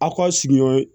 A ka sigiyɔrɔ